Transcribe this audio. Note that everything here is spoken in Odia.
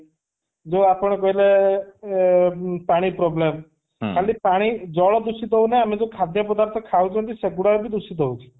ଯୋଉ ଆପଣ କହିଲେ ଅ ପାଣି problem ଖାଲି ପାଣି ଜଳ ଦୂଷିତ ହଉ ନା ଆମେ ଯୋଉ ଖାଦ୍ୟ ପର୍ଦାଥ ଖାଉଛନ୍ତି ସେଗୁଡା କ ବି ଦୂଷିତ ହଉଛି